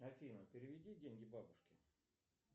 афина переведи деньги бабушке